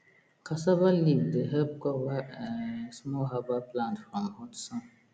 cassava leaf dey help cover um small herbal plant from hot sun